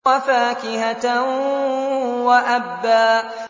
وَفَاكِهَةً وَأَبًّا